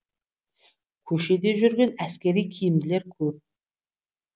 көшеде жүрген әскери киімділер көп